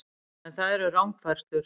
En það eru rangfærslur